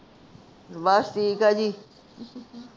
ਬਸ ਠੀਕ ਆ ਜੀ